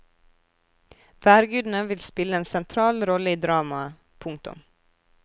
Værgudene vil spille en sentral rolle i dramaet. punktum